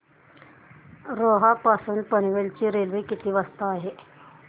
रोहा पासून पनवेल ची रेल्वे किती वाजता आहे